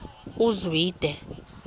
uzwide